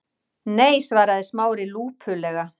Nei- svaraði Smári lúpulega.